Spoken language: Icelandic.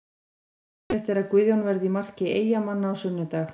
Líklegt er að Guðjón verði í marki Eyjamanna á sunnudag.